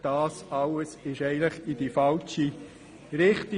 Dies alles ging in die falsche Richtung.